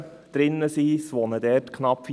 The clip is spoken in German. Knapp 4000 Personen wohnen darin.